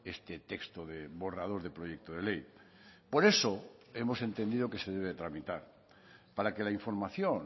este texto de borrador de proyecto de ley por eso hemos entendido que se debe tramitar para que la información